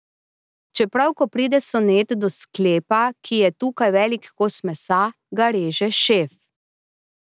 Čeprav, ko pride Sonet do sklepa, ki je tukaj velik kos mesa, ga reže šef ...